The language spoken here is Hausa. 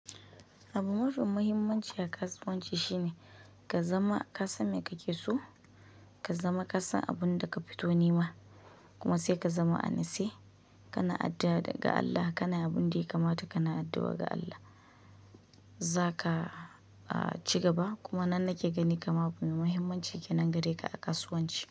Abun mafi muhimmanci a kasuwanci shine ka zama ka san me kake so, ka zama ka san abun da ka fito nema. Kuma sai ka zama a nitse kana addu'a ga Allah kana abin da ya kamata kana addu'a ga Allah za ka ci gaba. Kuma nan nake gani kamar abu mafi muhimmanci ke nan gare ka a kasuwanci.